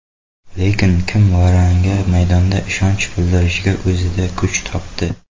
Lekin, kim Varanga maydonda ishonch bildirishga o‘zida kuch topdi.